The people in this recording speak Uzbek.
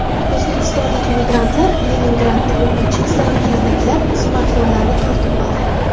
O‘zbekistonlik migrantlar Leningradda o‘quvchi qizlarni kaltaklab, smartfonlarini tortib oldi.